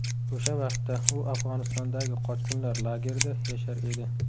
O‘sha vaqtda u Afg‘onistondagi qochqinlar lagerida yashar edi.